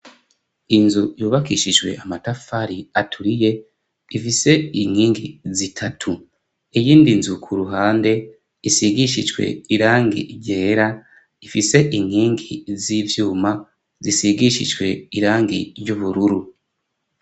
Inzu yubakishijwe amatafari aturiye ifise inkingi zitatu. Iyindi nzu ku ruhande isigishijwe irangi ryera, ifise inkingi z'ivyuma zisigishiijwe irangi ry'ubururu.